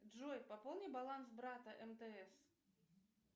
джой пополни баланс брата мтс